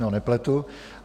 Ne, nepletu.